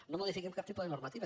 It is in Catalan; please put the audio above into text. no modifiquem cap tipus de normativa